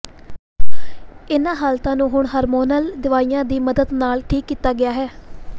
ਇਹਨਾਂ ਹਾਲਤਾਂ ਨੂੰ ਹੁਣ ਹਾਰਮੋਨਲ ਦਵਾਈਆਂ ਦੀ ਮਦਦ ਨਾਲ ਠੀਕ ਕੀਤਾ ਗਿਆ ਹੈ